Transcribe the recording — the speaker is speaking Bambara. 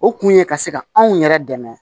O kun ye ka se ka anw yɛrɛ dɛmɛ